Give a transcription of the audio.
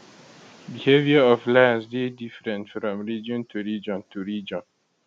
behaviour of lions dey different from region to region to region